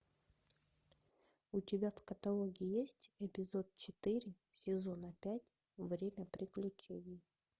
у тебя в каталоге есть эпизод четыре сезона пять время приключений